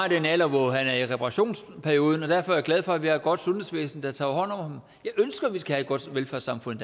i den alder hvor han er i reparationsperioden og derfor er jeg glad for at vi har et godt sundhedsvæsen der tager hånd om ham jeg ønsker at vi skal have et godt velfærdssamfund